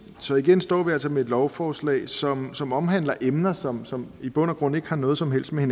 så igen står vi altså med et lovforslag som som omhandler emner som som i bund og grund ikke har noget som helst med